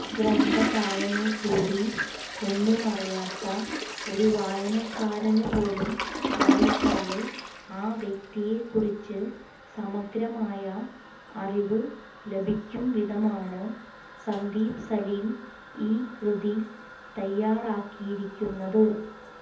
ഗ്രന്ഥകാരനെക്കൂടി ഒന്നുമറിയാത്ത ഒരു വായനക്കാരനുപോലും വായിച്ചാല് ആ വ്യക്തിയെക്കുറിച്ച് സമഗ്രമായ അറിവ് ലഭിക്കുംവിധമാണ് സന്ദീപ് സലിം ഈ കൃതി തയാറാക്കിയിരിക്കുന്നത്